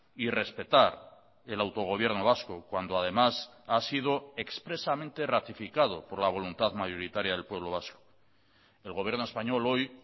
y respetar el autogobierno vasco cuando además ha sido expresamente ratificado por la voluntad mayoritaria del pueblo vasco el gobierno español hoy